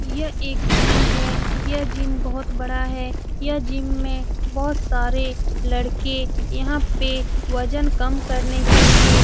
ये एक जिम है ये जिम में बहुत बड़ा है यह जिम में बहुत सारे लड़के यहाँ पे वजन कम करने के लिए --